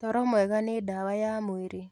Toro mwega nĩ ndawa ya mwĩrĩ